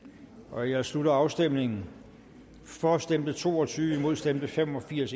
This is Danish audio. nu jeg slutter afstemningen for stemte to og tyve imod stemte fem og firs